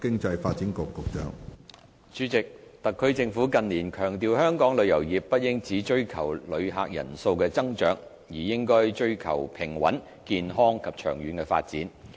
主席，特區政府近年強調香港旅遊業不應只追求旅客人數的增長，而應追求平穩、健康及長遠的發展。